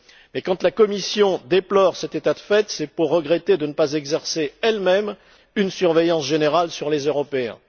Mais quand la Commission déplore cet état de fait, c'est pour regretter de ne pas exercer, elle même, une surveillance générale sur les Européens.